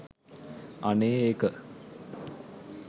අනේ ඒක